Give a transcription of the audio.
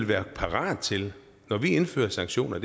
være parate til når vi indfører sanktioner